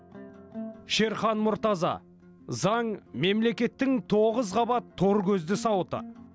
шерхан мұртаза заң мемлекеттің тоғыз қабат тор көзді сауыты